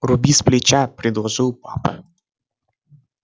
руби сплеча предложил папа